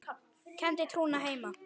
kenndi trúna hreina.